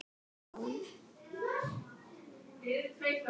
Ég er ljón.